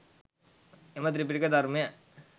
එම ත්‍රිපිටක ධර්මය